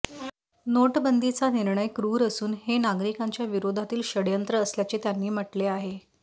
नोटबंदीचा निर्णय क्रुर असून हे नागरिकांच्या विरोधातील षडयंत्र असल्याचे त्यांनी म्हटले आहे